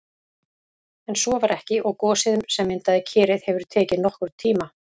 En svo var ekki og gosið sem myndaði Kerið hefur tekið nokkurn tíma.